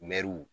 Mɛruw